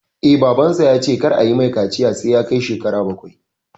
Eh, Babansa ya ce kar ayi mai kaciya sai ya kai shekara bakwai